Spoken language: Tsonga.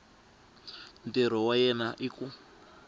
ntirho wa yena hi ku